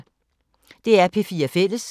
DR P4 Fælles